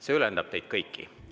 See ülendab teid kõiki.